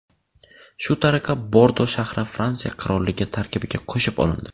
Shu tariqa Bordo shahri Fransiya qirolligi tarkibiga qo‘shib olindi.